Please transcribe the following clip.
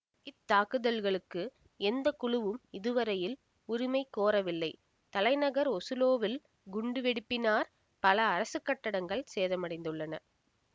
இத்தாக்குதல்களுக்கு எந்த குழுவும் இதுவரையில் உரிமை கோரவில்லை தலைநகர் ஒசுலோவில் குண்டுவெடிப்பினார் பல அரசுக் கட்டடங்கள் சேதமடைந்துள்ளன